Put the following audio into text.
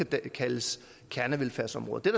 kan kaldes kernevelfærdsområder det